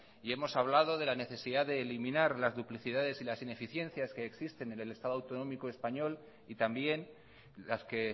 y hemos hablado de la necesidad de eliminar las duplicidades y las ineficiencias que existen en el estado autonómico español y también las que